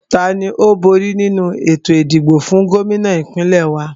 Tani ó bóri nínu ètò ìdìbò fún Gómìnà ìpínlẹ̀ wa?